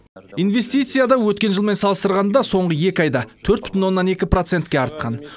инвестиция да өткен жылмен салыстырғанда соңғы екі айда төрт бүтін оннан екі процентке артқан